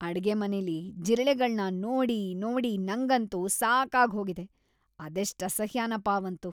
ಅಡ್ಗೆಮನೆಲಿ ಜಿರಳೆಗಳ್ನ ನೋಡಿ ನೋಡಿ ನಂಗಂತೂ ಸಾಕಾಗ್ ಹೋಗಿದೆ..ಅದೆಷ್ಟ್ ಅಸಹ್ಯನಪ ಅವಂತೂ.